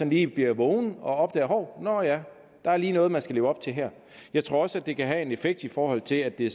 lige bliver vågen og opdager dette hov nå ja der er lige noget man skal leve op til her jeg tror også det kan have en effekt i forhold til at det